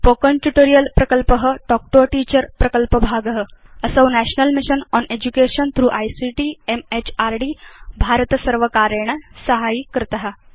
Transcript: spoken tutorial प्रकल्प talk to a teacher प्रकल्पभाग असौ national mission on education through ICT म्हृद् भारतसर्वकारेण साहाय्यीकृत